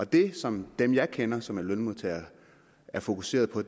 det som dem jeg kender som er lønmodtagere er fokuseret på